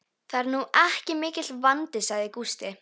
Það er nú ekki mikill vandi, sagði Gústi.